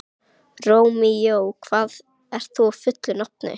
Rómeó, hvað heitir þú fullu nafni?